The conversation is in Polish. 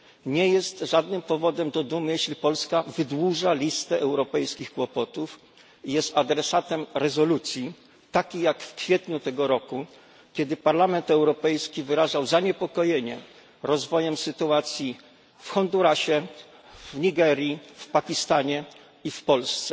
Nie jest żadnym powodem do dumy, jeśli Polska wydłuża listę europejskich kłopotów i jest adresatem rezolucji takiej jak w kwietniu tego roku, kiedy Parlament Europejski wyrażał zaniepokojenie rozwojem sytuacji w Hondurasie, w Nigerii, w Pakistanie i w Polsce.